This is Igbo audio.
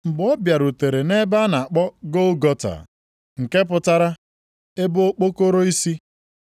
Mgbe ha bịarutere nʼebe a na-akpọ Gọlgọta (nke pụtara, “ebe okpokoro isi”).